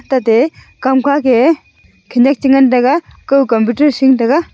tah thi kam kha ke yeh khanak cha ngan taga koi computer sing taga.